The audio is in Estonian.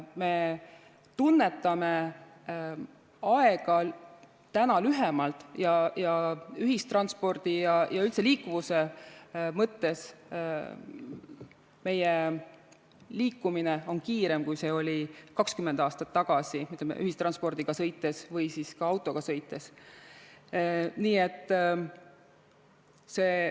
Me tunnetame aega täna lühemalt ning ühistranspordi ja üldse liikuvuse mõttes on meie liikumine kiirem, kui see oli 20 aastat tagasi, kas ühistranspordiga või ka autoga sõites.